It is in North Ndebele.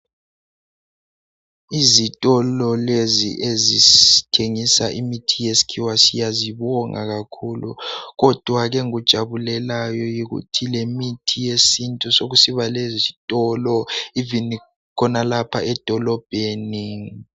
Izitolo lezi ezithengisa imithi yesikhiwa siyazibonga kakhulu kodwa ke engikujabulelayo yikuthi lemithi yesintu sokusiba lezitolo "even" khonalapha edolobheni.